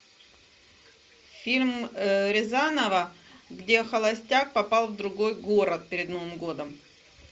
фильм рязанова где холостяк попал в другой город перед новым годом